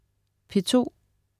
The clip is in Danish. P2: